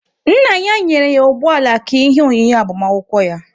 Nna ya nyere ya ụgbọala ka ihe onyinye agbamakwụkwọ ya.